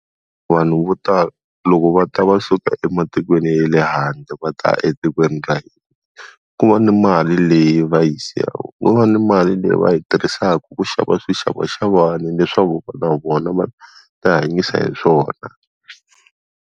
Vanhu vo tala loko va ta va suka ematikweni ya le handle va ta etikweni ra hina. Ku va ni mali leyi va yi siyaka vo va ni mali leyi va yi tirhisaka ku xava swixavaxavani leswaku na vona va ta yi hanyisa hi swona.